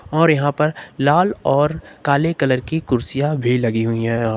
और यहां पर लाल और काले कलर की कुर्सियां भी लगी हुई है।